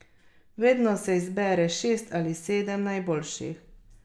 Vedno se izbere šest ali sedem najboljših.